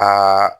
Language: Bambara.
Ka